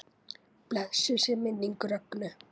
Blessuð sé minning Rögnu.